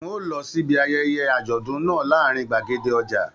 N o lọ síbi ayẹyẹ àjọ̀dún náà láàrin gbàgede ọja.